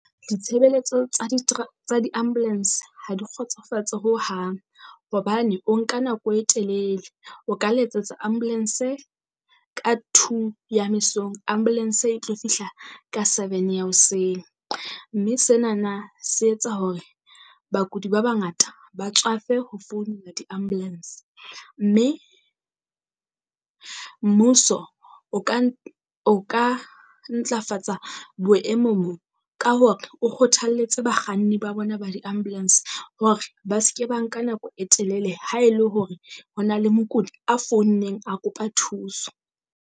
Ditshebeletso tsa di tsa di-ambulance ha di kgotsofatse hohang. Hobane o nka nako e telele o ka letsatsa ambulance-e ka two ya mesong, ambulance e tlo fihla ka seven ya hoseng. Mme senana se etsa hore bakudi ba bangata ba tswafe ho founela di-ambulance. Mme mmuso o ka o ka ntlafatsa boemong bo ka hore o kgothalletse bakganni ba bona ba di-ambulance hore ba se ke ba nka nako e telele ha el e hore ho na le mokudi a founeng a kopa thuso.